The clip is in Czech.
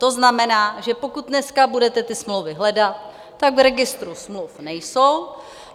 To znamená, že pokud dneska budete ty smlouvy hledat, tak v registru smluv nejsou.